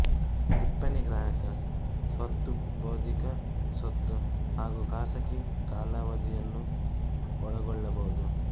ಟಿಪ್ಪಣಿ ಗ್ರಾಹಕ ಸ್ವತ್ತು ಬೌದ್ದಿಕ ಸ್ವತ್ತು ಹಾಗೂ ಖಾಸಗಿ ಕಾಲಾವಧಿಯನ್ನೂ ಒಳಗೊಳ್ಳಬಹುದು